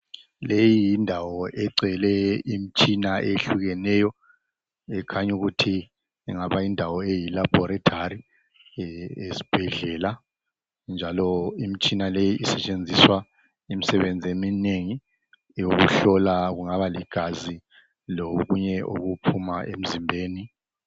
leyi yindawo egcwele imitshina eyehlukeneyo ekhanya ingaba yindawo eyilabholathori eyezibhedlela njalo imitshina leyi isetshenziswa imisebenzi eminengi eyokuhlola kungaba ligazi lokunye okuphuma emzimbeni